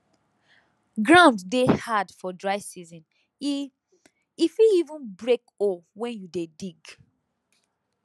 ground dey hard for dry season e e fit even break hoe when you dey dig